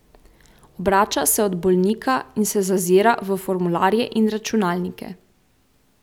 Obrača se od bolnika in se zazira v formularje in računalnike.